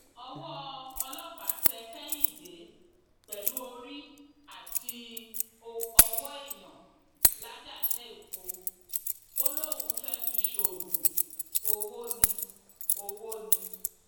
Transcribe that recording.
owó ọlọpàá tẹ kẹhìndé pẹlú orí àti owó èèyàn làjàṣẹipò ó lóun fẹẹ fi ṣoògùn owó ni owó ni